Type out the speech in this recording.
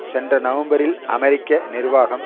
சென்ற நவம்பரில் அமெரிக்க நிர்வாகம்